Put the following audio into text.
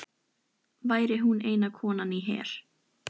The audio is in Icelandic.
Væri hún eina konan í her